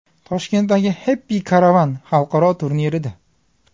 Toshkentdagi Happy Caravan xalqaro turnirida.